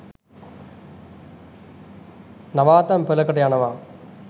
නවාතැන් පලකට යනව